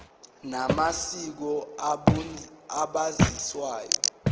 na masiko umbusazwe